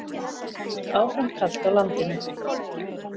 Áfram kalt á landinu